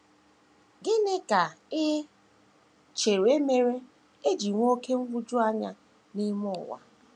“ Gịnị ka i chere mere e ji nwee oké nhụjuanya n’ime ụwa? ”